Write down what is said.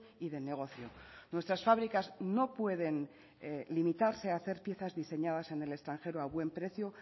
y de negocio nuestras fábricas no pueden limitarse a hacer piezas diseñadas en el extranjero a buen precio